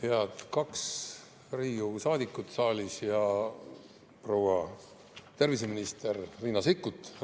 Head kaks Riigikogu saadikut saalis ja proua terviseminister Riina Sikkut!